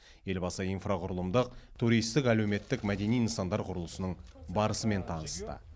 елбасы инфрақұрылымдық туристік әлеуметтік мәдени нысандар құрылысының барысымен танысты